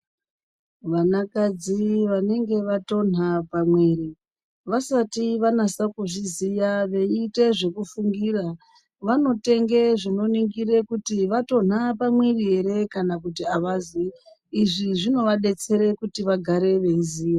Vanakadzi vanenge vatonha pamwiri, vasati vanasa kuzviziya veiite zvekufungira, vanotenge zvinoningire kuti, vatonha pamwiri ere kana kuti avazi. Izvi zvinovadetsere kuti vagare veiziya.